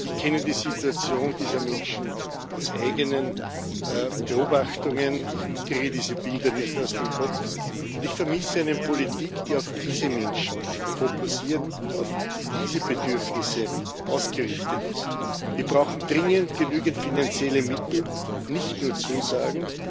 Ich kenne die Situation dieser Menschen aus eigenen Beobachtungen, ich kriege diese Bilder nicht aus dem Kopf, und ich vermisse eine Politik, die auf diese Menschen fokussiert, auf diese Bedürfnisse ausgerichtet ist. Wir brauchen dringend genügend finanzielle Mittel, nicht nur Zusagen.